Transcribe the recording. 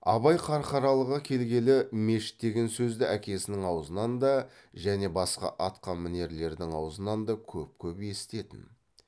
абай қарқаралыға келгелі мешіт деген сөзді әкесінің аузынан да және басқа атқамінерлердің аузынан да көп көп есітетін